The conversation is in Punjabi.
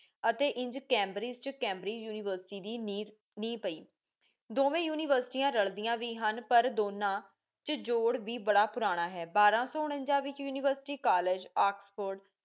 ਅਤੇ ਇੰਜ ਕੈਮ੍ਬ੍ਰਿਦ੍ਗੇ ਕੈਮ੍ਬ੍ਰਿ ਯਨੀਵਰਸਿਟੀ ਦੀ ਨੀਹ ਪੈਈ ਦੋਂਵੇਂ ਯੂਨੀਵਰਸਿਟੀ ਰਾਲਦੀਆਂ ਵੀ ਹਨ ਪਰ ਦੋਨਾ ਚ ਜੋੜ ਵੀ ਬਾੜਾ ਪੁਰਾਣਾ ਹੈ ਬਾਰਾ ਸੋ ਉਨਾਨ੍ਜਾ ਵਿਚ ਯੂਨੀਵਰਸਿਟੀ ਕਾਲਜ ਆਕਸਪੋ਼੍ਡ